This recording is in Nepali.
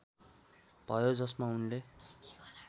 भयो जसमा उनले